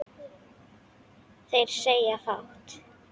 Þeir segja fátt